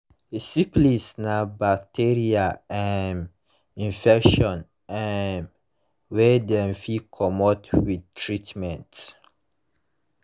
syphilis na bacteria um infection um wey dem fit commot with treatment